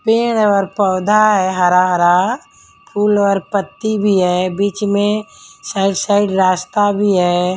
पेड़ और पौधा है हरा हरा फूल और पत्ती भी है बीच में साइड साइड रास्ता भी है।